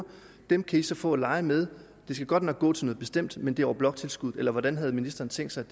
dem kan i så få at lege med de skal godt nok gå til noget bestemt men det er over bloktilskuddet eller hvordan havde ministeren tænkt sig